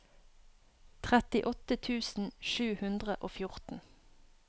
trettiåtte tusen sju hundre og fjorten